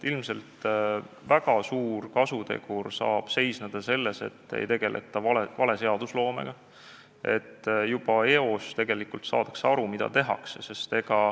Ilmselt saab väga suur kasutegur seisneda selles, et ei tegelda vale seadusloomega, et juba eos saadakse aru, mida tehakse.